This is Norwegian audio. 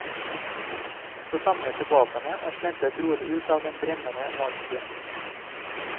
Så samlet de våpnene og slentret rolig ut av den brennende landsbyen.